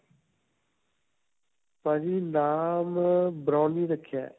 ਭਾਜੀ, ਨਾਮ ਅਅ browny ਰੱਖਿਆ ਹੈ.